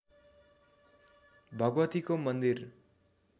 भगवतीको मन्दिर